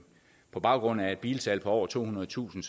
på baggrund af et bilsalg på over tohundredetusind